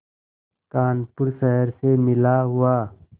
कानपुर शहर से मिला हुआ